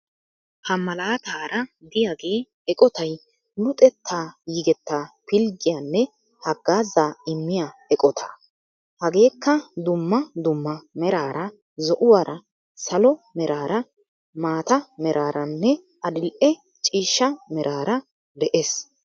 Ha malaataara de'iyaagee eqotay luxettaa yigettaa pilggiyaanne haggaazaa immiyaa eqootaa. Hageekka dumma dumma meraara zo"uwaara, salo meraara, maata meraaranne adil"e ciishsha meeraara de'ees.